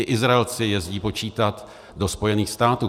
I Izraelci jezdí počítat do Spojených států.